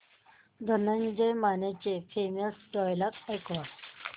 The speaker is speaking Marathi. धनंजय मानेचे फेमस डायलॉग ऐकव